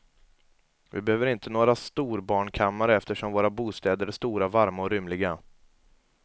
Vi behöver inte några storbarnkammare eftersom våra bostäder är stora, varma och rymliga.